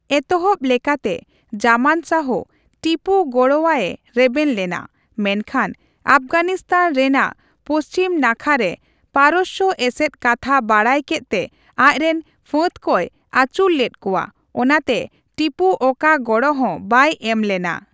ᱮᱛᱚᱦᱚᱵ ᱞᱮᱠᱟᱛᱮ, ᱡᱟᱢᱟᱱ ᱥᱟᱦᱚ ᱴᱤᱯᱩ ᱜᱚᱲᱚ ᱟᱭᱮ ᱨᱮᱵᱮᱱ ᱞᱮᱱᱟ, ᱢᱮᱱᱠᱷᱟᱱ ᱟᱯᱷᱜᱟᱱᱤᱥᱛᱟᱱ ᱨᱮᱱᱟᱜ ᱯᱚᱪᱷᱤᱢ ᱱᱟᱠᱷᱟᱨᱮ ᱯᱟᱨᱚᱥᱥᱚ ᱮᱥᱮᱫ ᱠᱟᱛᱷᱟ ᱵᱟᱰᱟᱭ ᱠᱮᱫᱛᱮ ᱟᱡᱨᱮᱱ ᱯᱷᱟᱹᱫ ᱠᱚᱭ ᱟᱹᱪᱩᱨ ᱞᱮᱫ ᱠᱚᱣᱟ, ᱚᱱᱟᱴᱮ ᱴᱤᱯᱩ ᱚᱠᱟ ᱜᱚᱲᱚ ᱦᱚᱸ ᱵᱟᱭ ᱮᱢ ᱞᱮᱱᱟ ᱾